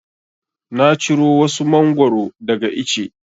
Na ciro wasu Mangwaro daga ice.